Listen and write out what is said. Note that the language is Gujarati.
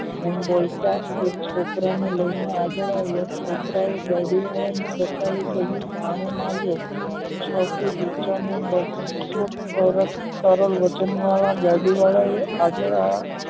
તેમ બોલતા એ છોકરાનું આગળ છોકરા ને લયીને આગળ આવ્યા છોકરાએ ગાડી વાળા ને બતાવીને કહીંયુ આને માર્યું વગણ વાળા ગાડી વાળા